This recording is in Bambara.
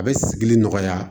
A bɛ sigili nɔgɔya